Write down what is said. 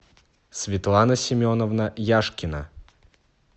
светлана семеновна яшкина